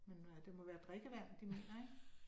Men nej, det må være drikkevand, de mener, ik?